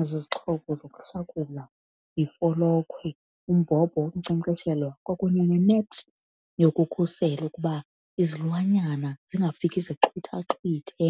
Ezi zixhobo zokuhlakula yifolokhwe, umbhobho wokunkcenkceshela kwakunye nenethi yokukhusela ukuba izilwanyana zingafiki zixhwithaxhwithe